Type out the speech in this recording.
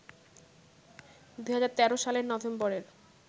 ২০১৩ সালের নভেম্বরের